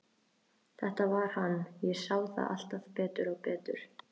Þetta var hann, ég sá það alltaf betur og betur.